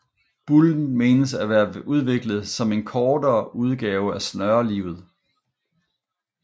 Bullen menes at være udviklet som en kortere udgave af snørelivet